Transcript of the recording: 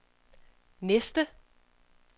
næste